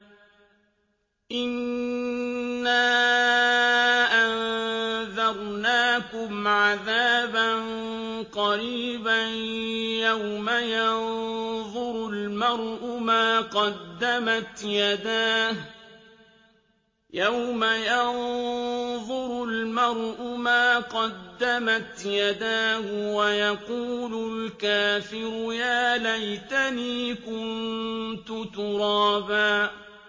إِنَّا أَنذَرْنَاكُمْ عَذَابًا قَرِيبًا يَوْمَ يَنظُرُ الْمَرْءُ مَا قَدَّمَتْ يَدَاهُ وَيَقُولُ الْكَافِرُ يَا لَيْتَنِي كُنتُ تُرَابًا